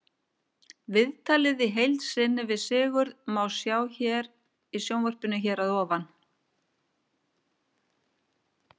Viðtalið í heild sinni við Sigurð má sjá í sjónvarpinu hér að ofan.